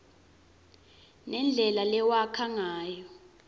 nendlela lewakha ngayo